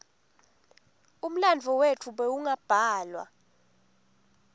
umlandvo wetfu bewungabhalwa